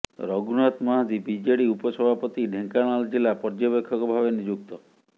ରଘୁନାଥ ମହାନ୍ତି ବିଜେଡି ଉପ ସଭାପତି ଢେଙ୍କାନାଳ ଜିଲ୍ଲା ପର୍ଯ୍ୟବେକ୍ଷକ ଭାବେ ନିଯୁକ୍ତ